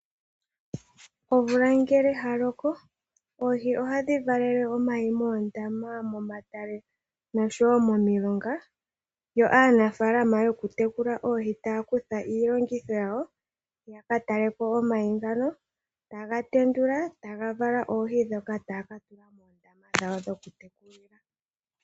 Omvula ngele yaloko, oohi odhi valele omayi moondama, momatale, noshowo momilonga. Aanafaalama yokutekula oohi ohaya kutha iilongitho yawo, yakataleko omayi ngoka, taga tendulwa oohi ndhoka taya katula moondama dhawo dhokutekulila.